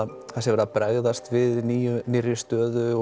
verið að bregðast við nýrri nýrri stöðu